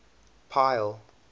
pile